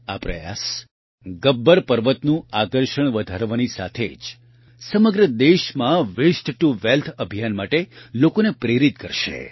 આ પ્રયાસ ગબ્બર પર્વતનું આકર્ષણ વધારવાની સાથે જ સમગ્ર દેશમાં વેસ્ટ ટુ વેલ્થ અભિયાન માટે લોકોને પ્રેરિત કરશે